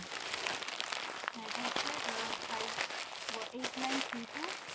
হ্যাঁ এটা হচ্ছে five eight nine three two